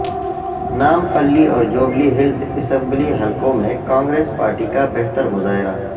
نامپلی اور جوبلی ہلز اسمبلی حلقوں میں کانگریس پارٹی کا بہتر مظاہرہ